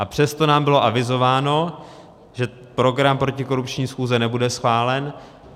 A přesto nám bylo avizováno, že program protikorupční schůze nebude schválen.